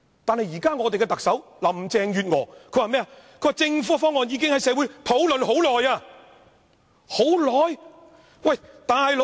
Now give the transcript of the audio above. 但現任特首林鄭月娥卻說政府的方案已在社會經過長時間討論。